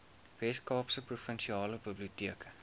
weskaapse provinsiale biblioteke